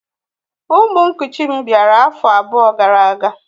Ụmụ nkuchi m bịara afọ abụọ gara aga